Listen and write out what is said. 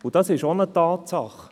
Dies ist auch eine Tatsache.